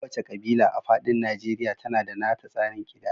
Kowace kabila a faɗin Najeriya na da nata tsarin kidaya.